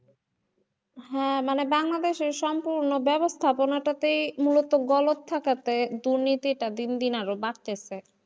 হ্যাঁ মানে বাংলাদেশে সম্পূর্ণ বেবস্থাপনাটা তেই মুলত গলত থাকাতে দুর্নীতিটা দিন দিন আরও বাড়তেছে।